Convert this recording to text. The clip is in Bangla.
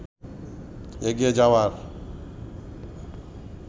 এগিয়ে যাওয়ার